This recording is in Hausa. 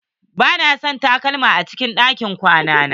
Ba na son takalma a cikin ɗakin kwana na.